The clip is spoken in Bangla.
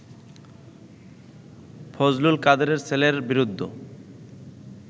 ফজলুল কাদেরের ছেলের বিরুদ্ধ